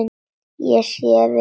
Ég sé við þér.